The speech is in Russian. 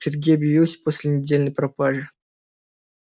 сергей объявился после недельной пропажи